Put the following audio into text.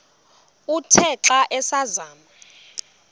uthe xa asazama